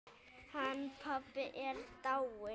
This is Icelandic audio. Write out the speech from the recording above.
Hann pabbi er dáinn.